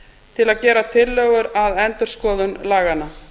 til að gera tillögur að endurskoðun laganna